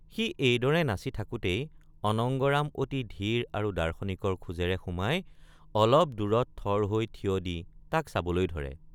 সি এইদৰে নাচি থাকোতেই অনঙ্গৰাম অতি ধীৰ আৰু দাৰ্শনিকৰ খোজেৰে সোমাই অলপ দূৰত থৰ হৈ থিয় দি তাক চাবলৈ ধৰে।